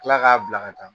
Kila k'a bila ka taa